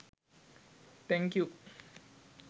thank you